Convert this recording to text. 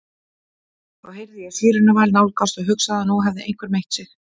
Þá heyrði ég sírenuvæl nálgast og hugsaði að nú hefði einhver meitt sig.